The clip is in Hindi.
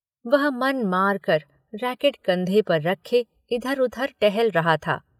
वह मन मारकर रैकिट कंधे पर रखे, इधर-उधर टहल रहा था।